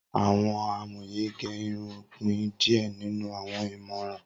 Awọn amoye ge irun pin diẹ ninu awọn imọran